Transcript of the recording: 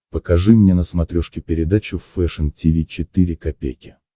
покажи мне на смотрешке передачу фэшн ти ви четыре ка